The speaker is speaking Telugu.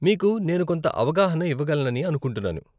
మీకు నేను కొంత ఆవగాహన ఇవ్వగలనని అనుకుంటున్నాను .